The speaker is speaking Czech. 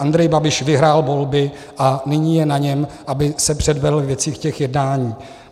Andrej Babiš vyhrál volby a nyní je na něm, aby se předvedl ve věcech jednání.